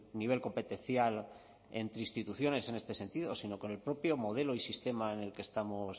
nivel competencial entre instituciones en este sentido sino con el propio modelo y sistema en el que estamos